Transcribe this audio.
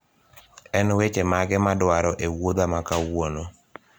en weche mage madwaro e wuotha makawuono